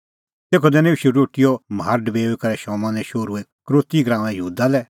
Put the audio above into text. तेखअ दैनअ ईशू रोटीओ म्हार डबेऊई करै शमौने शोहरू यहूदा इसकरोती लै